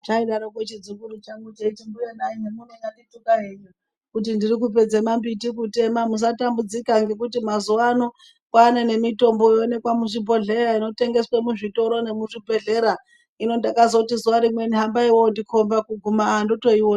Chaidaro chidzukuru changu cheiti zvemunonyandondituka henyu kuti ndikupedza mambiti kutema usatambudzika ngekuti mazuvano kwaane nemitombo unookwa muzvibhedhleya inotengeswq muzvitoro nemuzvibhedhlera. Hino ndakazoti zuva rimweni hambayi wondikomba kuguma wotoona.